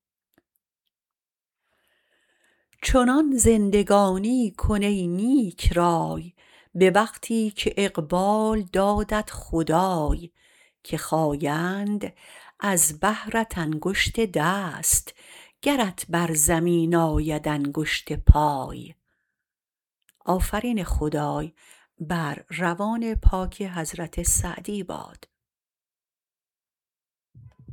چنان زندگانی کن ای نیکرای به وقتی که اقبال دادت خدای که خایند از بهرت انگشت دست گرت بر زمین آید انگشت پای